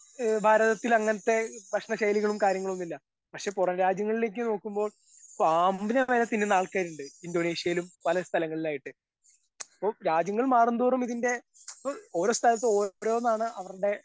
ഏ ഭാരതത്തിലങ്ങനത്തെ ഭക്ഷണ ശൈലികളും കാര്യങ്ങളൊന്നും ഇല്ല പക്ഷെ പുറം രാജ്യങ്ങളിലേക്ക് നോക്കുമ്പൊ പാമ്പിനെ വരെ തിന്നുന്ന ആൾക്കാരിണ്ട് ഇന്തോനേഷ്യയിലും പല സ്ഥലങ്ങളിലുമായിട്ട് ഇപ്പൊ രാജ്യങ്ങൾ മാറും തോറും ഇതിന്റെ ഇപ്പൊ ഓരോ സ്ഥലത്തും ഓരോന്നാണ് അവർടെ.